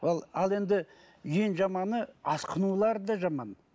ал ал енді ең жаманы асқынулары да жаман